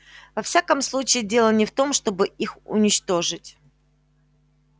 во всяком случае дело не в том чтобы их уничтожить